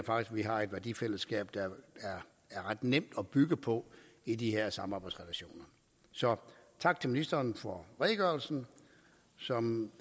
vi har et værdifællesskab der er ret nemt at bygge på i de her samarbejdsrelationer så tak til ministeren for redegørelsen som